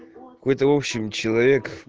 какой то в общем человек